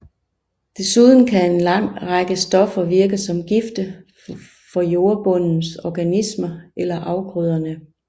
Desuden kan en lang række stoffer virke som gifte for jordbundens organismer eller afgrøderne